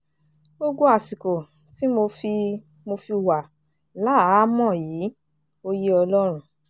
gbogbo àsìkò tí mo fi mo fi wà láhàámọ̀ yìí ò yé ọlọ́run